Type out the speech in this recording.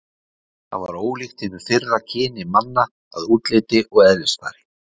Það var ólíkt hinu fyrra kyni manna að útliti og eðlisfari.